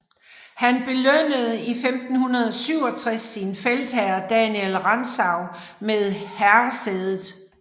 Han belønnede i 1567 sin feltherre Daniel Rantzau med herresædet